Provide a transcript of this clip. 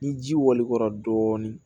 Ni ji wali kɔra dɔɔni